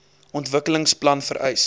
ontwikkelings plan vereis